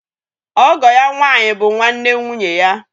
Ọgọ ya nwànyí bụ nwanne nwụnye ya.